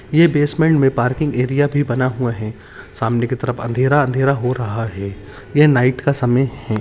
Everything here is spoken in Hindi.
ये बेस्टमेन्ट में पार्किंग एरिया भी बना हुरा है सामने की तरफ अँधेरा अँधेरा हो रहा है ये नाईट का समय है।